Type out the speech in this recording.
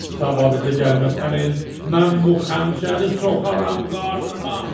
Sabah bizə gəlməsəniz, mən bu xəncəri soxaram qarnıma.